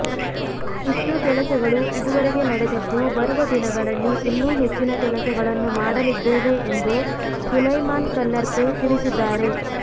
ಇಷ್ಟು ಕೆಲಸಗಳು ಇದುವರೆಗೂ ನಡೆದಿದ್ದು ಬರುವ ದಿನಗಳಲ್ಲಿ ಇನ್ನೂ ಹೆಚ್ಚಿನ ಕೆಲಸಗಳನ್ನು ಮಾಡಲಿದ್ದೇವೆ ಎಂದು ಸುಲೈಮಾನ್ ಕಲ್ಲರ್ಪೆ ತಿಳಿಸಿದ್ದಾರೆ